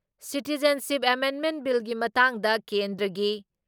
citizenship amendment ꯕꯤꯜꯒꯤ ꯃꯇꯥꯡꯗ ꯀꯦꯟꯗ꯭ꯔꯒꯤ